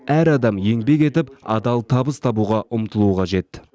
әр адам еңбек етіп адал табыс табуға ұмтылуы қажет